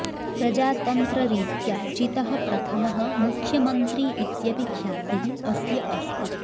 प्रजातन्त्ररीत्या चितः प्रथमः मुख्यमन्त्री इत्यपि ख्यातिः अस्य अस्ति